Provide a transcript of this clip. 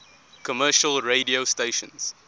commercial radio stations